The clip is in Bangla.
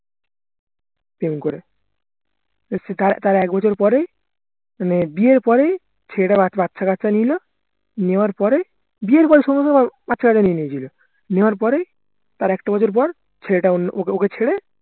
প্রেম করে তার তার এক বছর পরে মানে বিয়ের পরেই ছেলেটা বাচ্চাকাচ্চা নিলো নেওয়ার পরে বিয়ের পরেই সম্ভবত বাচ্চাকাচ্চা নিয়ে নিয়েছিল নেওয়ার পরে তার একটা বছর পর ছেলেটা অন্য ওকে ওকে ছেড়ে